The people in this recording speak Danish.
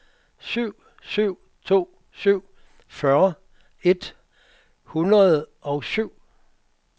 syv syv to syv fyrre et hundrede og syv